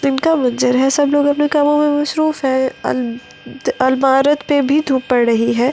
दिन का मंजर है सब लोग अपने कामों में मसरूफ है अलमारत पे भी धूप पड़ रही है।